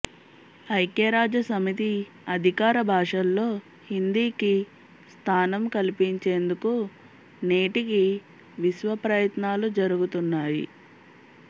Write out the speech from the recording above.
ఐక్యరాజ్యసమితి అధికార భాషల్లో హిందీకి స్థానం కల్పించేందుకు నేటికీ విశ్వప్రయత్నాలు జరుగుతున్నాయి